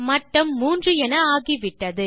மட்டம் 3 என ஆகிவிட்டது